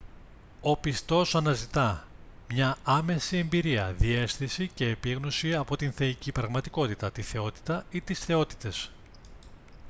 ο πιστός αναζητά μια άμεση εμπειρία διαίσθηση ή επίγνωση από την θεϊκή πραγματικότητα / τη θεότητα ή τις θεότητες